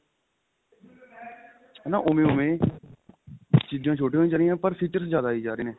ਹਨਾ ਉਵੇਂ ਉਵੇਂ ਚੀਜਾ ਛੋਟੀਆਂ ਹੋਈ ਜਾ ਰਹੀਆਂ ਪਰ features ਜਿਆਦਾ ਆਈ ਜਾ ਰਹੇ ਨੇ